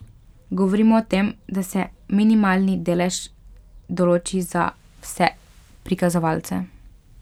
Govorimo o tem, da se minimalni delež določi za vse prikazovalce.